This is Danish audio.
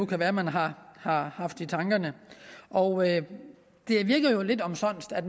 kan være man har har haft i tankerne og det virker lidt omsonst at